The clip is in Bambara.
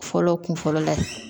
Fɔlɔ kun fɔlɔ la